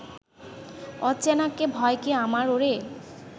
অচেনাকে ভয় কি আমার ওরে